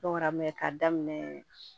ka daminɛ